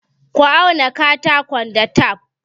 Ka auna katakon da tef!